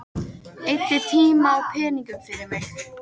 Eyddi tíma og peningum fyrir mig.